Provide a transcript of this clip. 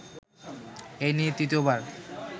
এই নিয়ে তৃতীয়বার